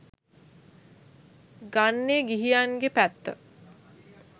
ගන්නේ ගිහියන්ගේ පැත්ත.